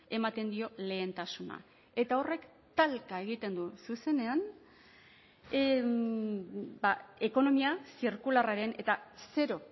ematen dio lehentasuna eta horrek talka egiten du zuzenean ekonomia zirkularraren eta zero